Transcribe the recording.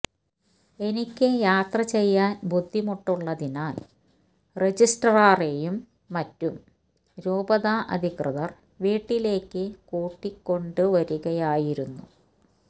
എനിക്ക് യാത്ര ചെയ്യാൻ ബുദ്ധിമുട്ടുള്ളതിനാൽ രജിസ്ട്രാറെയും മറ്റും രൂപത അധികൃതർ വീട്ടിലേക്ക് കൂട്ടിക്കൊണ്ടുവരികയായിരുന്നു